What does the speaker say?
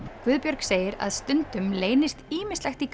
Guðbjörg segir að stundum leynist ýmislegt í